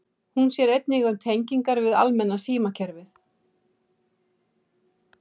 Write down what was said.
Hún sér einnig um tengingar við almenna símkerfið.